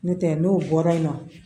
N'o tɛ n'o bɔra yen nɔ